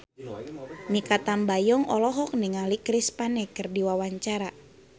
Mikha Tambayong olohok ningali Chris Pane keur diwawancara